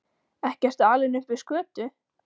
Ekki ertu alinn upp við skötu?